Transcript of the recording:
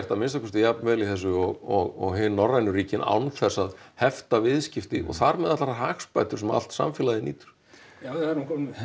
að minnsta kosti jafn vel í þessu og hin norrænu ríkin án þess að hefta viðskipti og þar með allar hagsbætur sem allt samfélagið nýtur já við erum